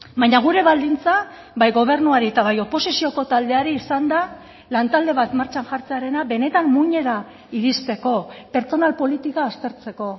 baina gure baldintza bai gobernuari eta bai oposizioko taldeari izan da lantalde bat martxan jartzearena benetan muinera iristeko pertsonal politika aztertzeko